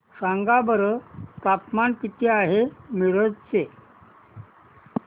सांगा बरं तापमान किती आहे मिरज चे